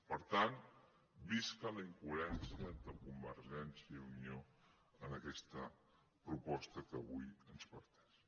per tant visca la incoherència de convergència i unió en aquesta proposta que avui ens plantegen